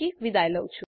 જોડાવાબદ્દલ આભાર